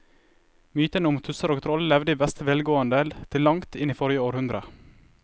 Mytene om tusser og troll levde i beste velgående til langt inn i forrige århundre.